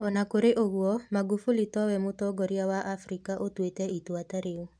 O na kũrĩ ũguo, Magufuli towe mũtongoria wa Afrika ũtuĩte itua ta rĩu.